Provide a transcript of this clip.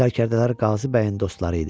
Sərkərdələri Qazibəyin dostları idi.